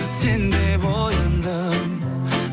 сен деп ояндым